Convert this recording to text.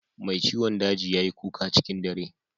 Mai ciwon daji ya yi kuka cikin dare